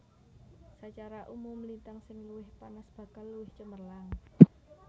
Sacara umum lintang sing luwih panas bakal luwih cemerlang